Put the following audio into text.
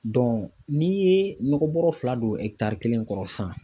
n'i ye nɔgɔ bɔrɔ fila don ɛkitari kelen kɔrɔ sisan